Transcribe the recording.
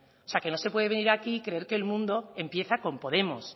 o sea que no se puede venir aquí y creer que el mundo empieza con podemos